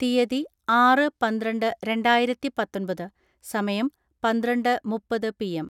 തിയ്യതി, ആറ് പന്ത്രണ്ട് രണ്ടായിരത്തിപാത്തൊൻപത്.സമയം, പന്ത്രണ്ട് മുപ്പത് പി എം.